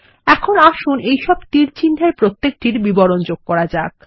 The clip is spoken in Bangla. এখন আসুন এইসব তীরচিহ্নর প্রতিটির বিবরণ যোগ করা যাক